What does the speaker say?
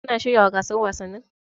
Kun shiryawa gasar wasannin?